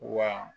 Wa